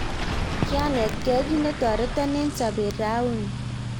kianetgei kit netorton eng sobet rauni